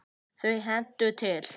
Þau hendast til.